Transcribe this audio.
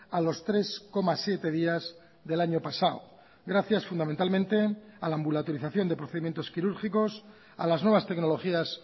a los tres coma siete días del año pasado gracias fundamentalmente a la ambulatorización de procedimientos quirúrgicos a las nuevas tecnologías